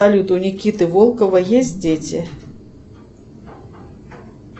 салют у никиты волкова есть дети